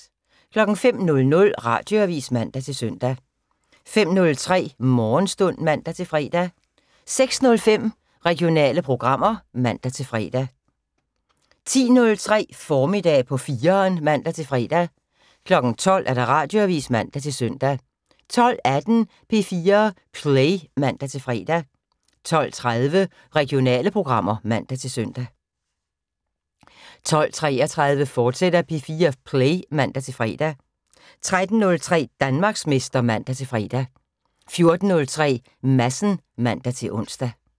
05:00: Radioavis (man-søn) 05:03: Morgenstund (man-fre) 06:05: Regionale programmer (man-fre) 10:03: Formiddag på 4'eren (man-fre) 12:00: Radioavis (man-søn) 12:18: P4 Play (man-fre) 12:30: Regionale programmer (man-søn) 12:33: P4 Play, fortsat (man-fre) 13:03: Danmarksmester (man-fre) 14:03: Madsen (man-ons)